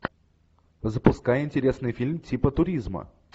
запускай интересный фильм типа туризма